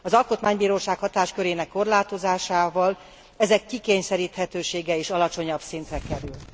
Az alkotmánybíróság hatáskörének korlátozásával ezek kikényszeríthetősége is alacsonyabb szintre kerül.